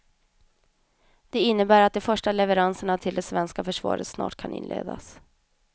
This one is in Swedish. Det innebär att de första leveranserna till det svenska försvaret snart kan inledas.